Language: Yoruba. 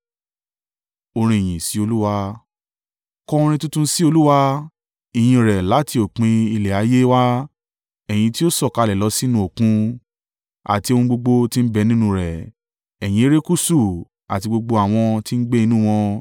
Kọ orin tuntun sí Olúwa ìyìn rẹ̀ láti òpin ilẹ̀ ayé wá, ẹ̀yin tí ó sọ̀kalẹ̀ lọ sínú Òkun, àti ohun gbogbo tí ń bẹ nínú rẹ̀, ẹ̀yin erékùṣù, àti gbogbo àwọn tí ń gbé inú wọn.